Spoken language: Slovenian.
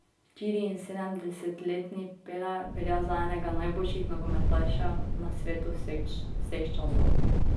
Štiriinsedemdesetletni Pele velja za enega najboljših nogometašev na svetu vseh časov.